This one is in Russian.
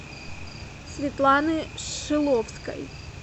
светланы шиловской